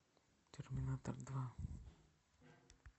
терминатор два